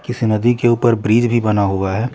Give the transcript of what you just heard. इस नदी के ऊपर ब्रिज भी बना हुआ हैं।